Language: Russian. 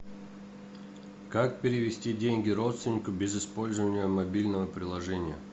как перевести деньги родственнику без использования мобильного приложения